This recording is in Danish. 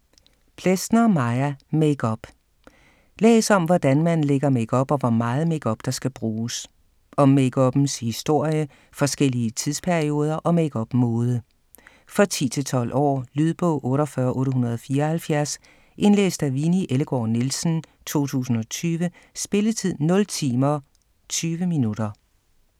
Plesner, Maja: Makeup Læs om hvordan man lægger makeup og hvor meget makeup, der skal bruges. Om makeuppens historie, forskellige tidsperioder og makeup-mode. For 10-12 år. Lydbog 48874 Indlæst af Winni Ellegaard Nielsen, 2020. Spilletid: 0 timer, 20 minutter.